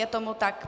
Je tomu tak.